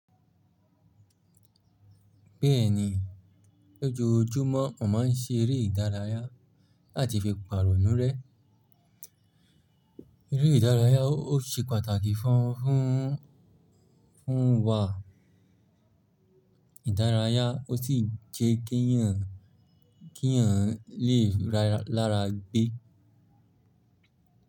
Bẹ́ẹ̀ni, lójoójúmọ́ mo má a ń seeré ìdárayá àti fi pàrọ̀ nú rẹ́. Eré ìdárayá ó ṣe pàtàkì fún wa ìdárayá ó sì jẹ́ kí èèyàn lè lára gbé.